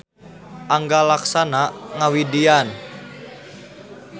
Angga Laksana ngawidian.